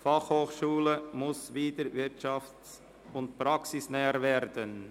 «Fachhochschule muss wieder wirtschafts- und praxisnäher werden!».